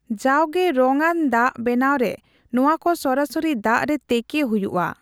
ᱡᱟᱣᱜᱮ ᱨᱚᱝᱟᱱ ᱫᱟᱜ ᱵᱮᱱᱟᱣᱨᱮ ᱱᱚᱣᱟᱠᱚ ᱥᱚᱨᱟᱥᱚᱨᱤ ᱫᱟᱜᱨᱮ ᱛᱮᱠᱮ ᱦᱩᱭᱩᱜᱼᱟ ᱾